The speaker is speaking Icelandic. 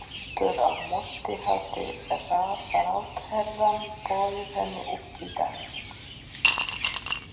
Aftur á móti hafði ráðherrann boðið henni upp í dans.